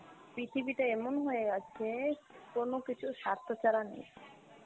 পৃথিবীটা এমন হয়ে গেছে কোনো কিছুর স্বার্থ ছাড়া নেই,